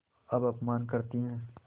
अब अपमान करतीं हैं